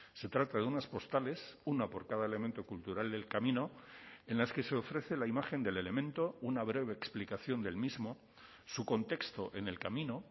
se trata de unas postales una por cada elemento cultural del camino en las que se ofrece la imagen del elemento una breve explicación del mismo su contexto en el camino